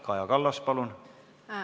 Kaja Kallas, palun!